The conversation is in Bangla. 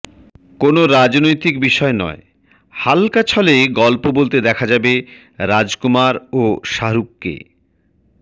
কোনও রাজনৈতিক বিষয় নয় হাল্কা ছলে গল্প বলতে দেখা যাবে রাজকুমার ও শাহরুখকে